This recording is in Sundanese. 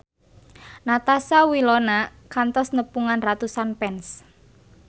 Natasha Wilona kantos nepungan ratusan fans